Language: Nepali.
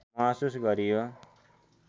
महसुस गरियो